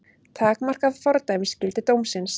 Takmarkað fordæmisgildi dómsins